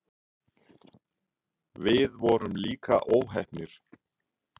Við vorum líka óheppnir